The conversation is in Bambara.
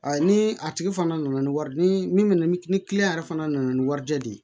A ni a tigi fana nana ni wari ni min nana ni ni kiliyan yɛrɛ fana nana ni warijɛ de ye